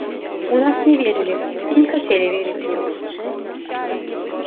в нас не верили и не хотели верить